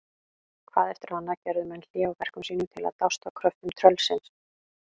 Hvað eftir annað gerðu menn hlé á verkum sínum til að dást að kröftum tröllsins.